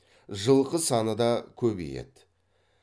жылқы саны да көбейеді